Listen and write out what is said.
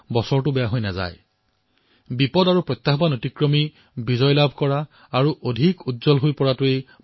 ভাৰতৰ ইতিহাসত বিপদৰ পৰা মুকলি হোৱা তথা প্ৰত্যাহ্বানত জয় লাভ কৰাৰ কথা উল্লেখ আছে